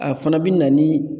A fana bi na ni